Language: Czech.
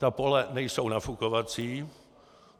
Ta pole nejsou nafukovací.